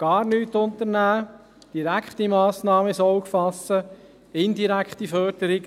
gar nichts unternehmen, direkte Massnahmen ins Auge fassen, indirekte Förderungen.